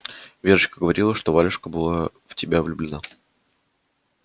верочка говорила что валюшка была в тебя влюблена